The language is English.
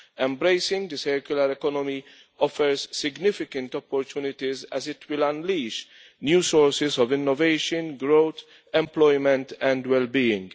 Embracing the circular economy offers significant opportunities as it will unleash new sources of innovation, growth, employment and well being.